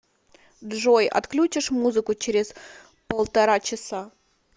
джой отключишь музыку через полтора часа